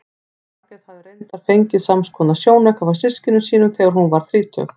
Margrét hafði reyndar fengið samskonar sjónauka frá systkinum sínum þegar hún varð þrítug.